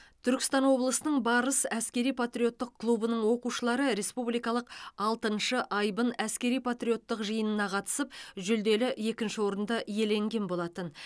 түркістан облысының барыс әскери патриоттық клубының оқушылары республикалық алтыншы айбын әскери патриоттық жиынына қатысып жүлделі екінші орынды иеленген болатын